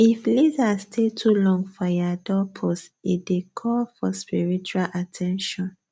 if lizard stay too long for ya doorpost e dey call for spiritual at ten tion